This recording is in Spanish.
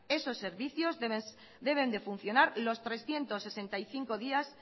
esos servicios deben de funcionar los trescientos sesenta y cinco días